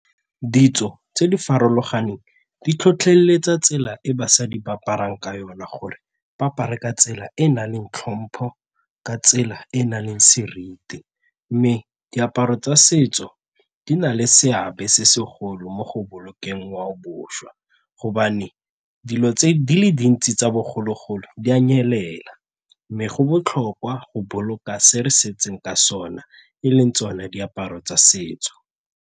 Ditso tse di farologaneng di tlhotlheletsa tsela e basadi ba aparang ka yone gore ba apare ka tsela e e nang le tlhompho ka tsela e e nang le seriti mme diaparo tsa setso di na le seabe se segolo mo go bolokeng ngwao boswa gobane dilo tse di le dintsi tsa bogologolo di a nyelela mme go botlhokwa go boloka se re setseng ka sona e leng tsone diaparo tsa setso.